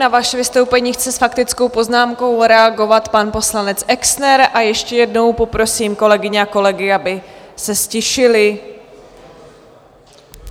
Na vaše vystoupení chce s faktickou poznámkou reagovat pan poslanec Exner a ještě jednou poprosím kolegyně a kolegy, aby se ztišili.